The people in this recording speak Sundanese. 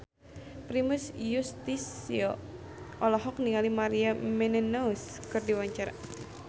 Primus Yustisio olohok ningali Maria Menounos keur diwawancara